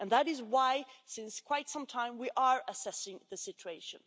That is why, since quite some time, we are assessing the situation.